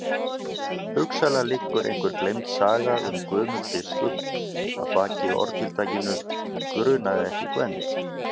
Hugsanlega liggur einhver gleymd saga um Guðmund biskup að baki orðatiltækinu grunaði ekki Gvend.